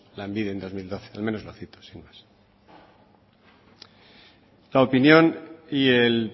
lanbide en dos mil doce al menos lo cito la opinión y el